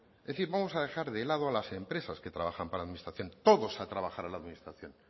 es decir vamos a dejar de lado a las empresas que trabajan para la administración todos a trabajar a la administración